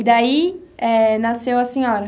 E daí eh, nasceu a senhora?